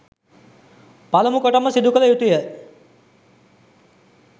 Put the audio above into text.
පළමු කොටම සිදු කළ යුතුය